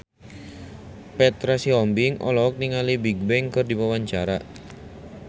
Petra Sihombing olohok ningali Bigbang keur diwawancara